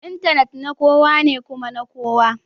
Intanet na kowa ne kuma na kowa